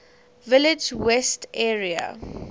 village west area